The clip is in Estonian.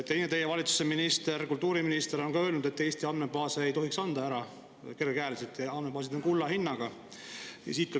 Teine teie valitsuse minister, kultuuriminister on öelnud, et Eesti andmebaase ei tohiks anda ära kergekäeliselt ja andmebaasid on kulla hinnaga.